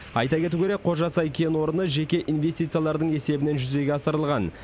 айта кету керек қожасай кен орны жеке инвестициялардың есебінен жүзеге асырылған